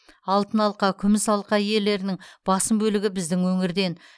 алтын алқа күміс алқа иелерінің басым бөлігі біздің өңірден